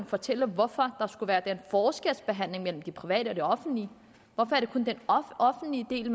fortælle hvorfor der skulle være den forskelsbehandling mellem det private og offentlige hvorfor er det kun den offentlige del